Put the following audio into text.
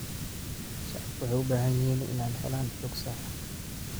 Shacabku waxay u baahan yihiin inay helaan xog sax ah.